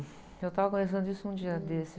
Eu estava conversando isso um dia desses.